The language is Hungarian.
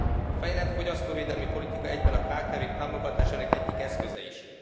A fejlett fogyasztóvédelmi politika egyben a kkv k támogatásának egyik eszköze is.